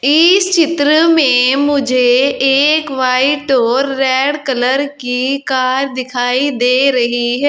इस चित्र में मुझे एक वाइट और रेड कलर की कार दिखाई दे रही है।